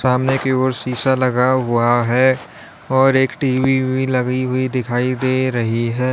सामने की ओर शीशा लगा हुआ है और एक टी_वी भी लगी हुई दिखाई दे रही है।